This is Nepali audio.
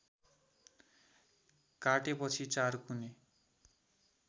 काटेपछि चारकुने